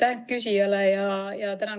Aitäh küsijale!